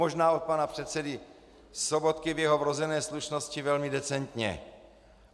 Možná od pana předsedy Sobotky při jeho vrozené slušnosti velmi decentně.